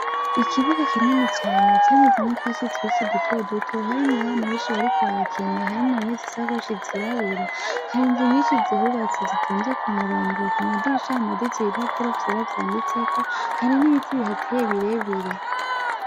Ikibuga kinini cane camezemwo utwatsi twinshi duto duto harimwo abana benshi bariko barakina harimwo abahetse isakoshi zirabura, hari inzu nyinshi zihubatse zitonze ku murongo ku madirisha hamaditse ibipapuro vyera vyanditseko, hari n'ibiti bihateye birebire.